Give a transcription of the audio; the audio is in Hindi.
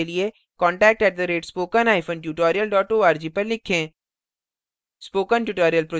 अधिक जानकारी के लिए contact @spokentutorial org पर लिखें